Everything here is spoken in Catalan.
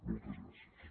moltes gràcies